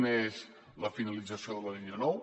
una és la finalització de la línia nou